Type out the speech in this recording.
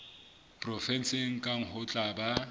provenseng kang ho tla ba